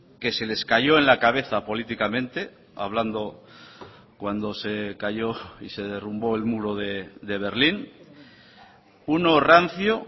que se les cayó en la cabeza políticamente hablando cuando se cayó y se derrumbó el muro de berlín uno rancio